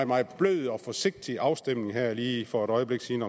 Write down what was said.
meget blød og forsigtig afstemning om ændringsforslaget her lige for et øjeblik siden